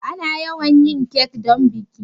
Ana yawan yin kek don biki.